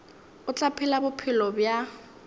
o tla phela bophelo bja